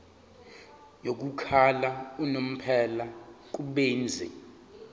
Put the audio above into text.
yokuhlala unomphela kubenzi